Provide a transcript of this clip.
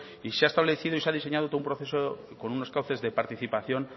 y se ha establecido y se ha diseñado todo un proceso con unos cauces de participación